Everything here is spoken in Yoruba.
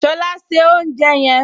Ṣọlá se oúnjẹ yẹn!